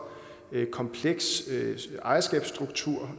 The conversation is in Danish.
kompleks ejerskabsstruktur